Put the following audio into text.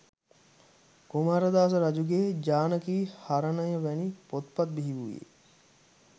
කුමාරදාස රජුගේ ජානකී හරණය වැනි පොත්පත් බිහිවූයේ